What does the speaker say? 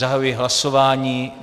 Zahajuji hlasování.